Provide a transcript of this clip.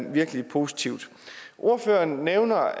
er virkelig positivt ordføreren nævner